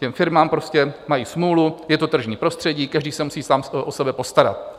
Ty firmy prostě mají smůlu, je to tržní prostředí, každý se musí sám o sebe postarat.